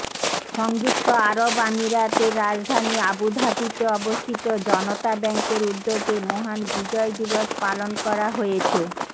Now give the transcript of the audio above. সংযুক্ত আরব আমিরাতের রাজধানী আবুধাবিতে অবস্থিত জনতা ব্যাংকের উদ্যোগে মহান বিজয় দিবস পালন করা হয়েছে